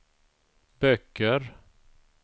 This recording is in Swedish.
böcker